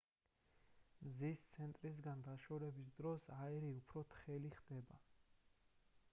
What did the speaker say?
მზის ცენტრისგან დაშორების დროს აირი უფრო თხელი ხდება